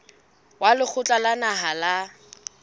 wa lekgotla la naha la